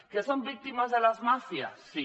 que són víctimes de les màfies sí